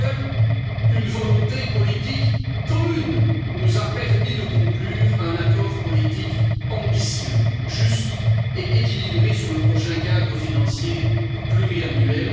Seule une volonté politique commune nous a permis de conclure un accord politique ambitieux, juste et équilibré sur le prochain cadre financier pluriannuel.